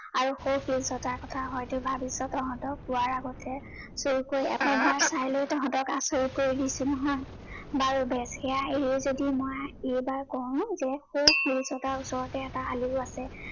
আৰু সৌ শিলচটাৰ কথা হয়তো ভাবিছ, তহঁতক কোৱাৰ আগতে এবাৰ চাই লৈ তহঁতক আচৰিত কৰি দিছো নহয়। বাৰু বেচ, সেইয়ায়েই যদি এইবাৰ মই কওঁ যে সৌ শিলচটাৰ ওচৰতে এটা আলিও আছে।